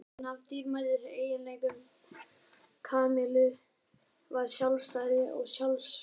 Einn af dýrmætustu eiginleikum Kamillu var sjálfstæði og sjálfsagi.